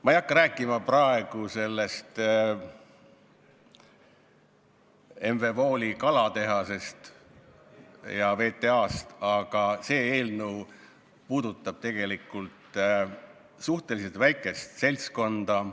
Ma ei hakka rääkima praegu M.V.Wooli kalatehasest ja VTA-st, aga see eelnõu puudutab tegelikult suhteliselt väikest seltskonda.